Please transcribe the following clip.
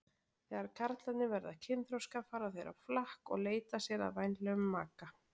Þegar karlarnir verða kynþroska fara þeir á flakk og leita sér að vænlegum maka.